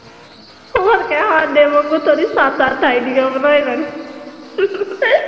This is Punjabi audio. ਹੋਰ ਕੀ ਆ ਸਾਡੇ ਵਾਂਗੂ ਥੋੜੀ ਸੱਤ ਅੱਠ ਆਈਡੀਆਂ ਬਣਾਈ ਲੈਣ